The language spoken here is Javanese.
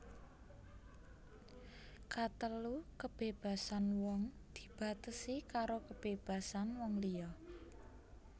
Katelu kebébasan wong dibatesi karo kebébasan wong liya